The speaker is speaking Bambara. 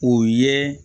O ye